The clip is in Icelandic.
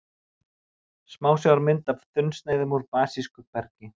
Smásjármynd af þunnsneiðum af basísku bergi.